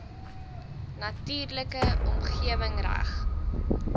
natuurlike omgewing reg